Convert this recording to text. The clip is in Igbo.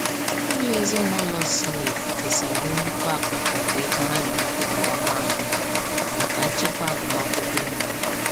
Ụlọ ezinaụlọ Smith kesara nnukwu akụkụ nke ego ha na-enweta kwa ọnwa anọ maka nchekwa agụmakwụkwọ ụmụ ha.